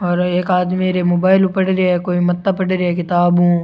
और एक आदमी रे मोबाइल पड़े रे है कोई माथा पड़ रेया किताबु।